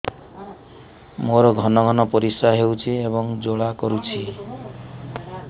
ମୋର ଘନ ଘନ ପରିଶ୍ରା ହେଉଛି ଏବଂ ଜ୍ୱାଳା କରୁଛି